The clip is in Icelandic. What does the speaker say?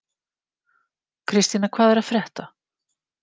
Kristína, hvað er að frétta?